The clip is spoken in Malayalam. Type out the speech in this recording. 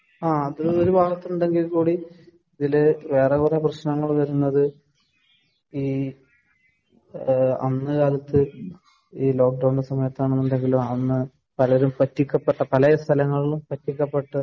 ആ അത് ഒരു ഭാഗത്ത് ഉണ്ടെങ്കിൽ കൂടി ഇതില് വേറെ കുറെ പ്രശ്നങ്ങൾ വരുന്നത് ഈ അന്ന് കാലത്ത് ഈ ലോക്ക് ഡൌണിന്റെ സമയത്ത് ആണ്എന്നുണ്ടെങ്കിലും അന്ന് പലരുംപറ്റിക്കപ്പെട്ട പലേ സ്ഥലങ്ങളിലും പറ്റിക്കപ്പെട്ട